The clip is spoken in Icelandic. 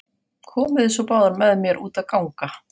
Komiði svo báðar með mér út að ganga.